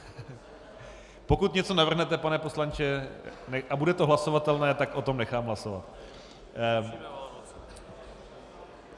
Pokud něco navrhnete, pane poslanče, a bude to hlasovatelné , tak o tom nechám hlasovat.